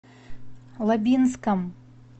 лабинском